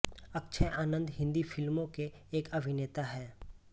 अक्षय आनन्द हिन्दी फ़िल्मों के एक अभिनेता हैं